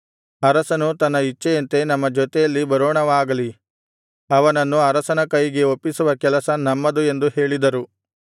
ಅರಸನು ತನ್ನ ಇಚ್ಛೆಯಂತೆ ನಮ್ಮ ಜೊತೆಯಲ್ಲಿ ಬರೋಣವಾಗಲಿ ಅವನನ್ನು ಅರಸನ ಕೈಗೆ ಒಪ್ಪಿಸುವ ಕೆಲಸ ನಮ್ಮದು ಎಂದು ಹೇಳಿದರು